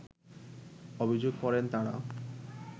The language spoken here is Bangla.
অভিযোগ করেন তারা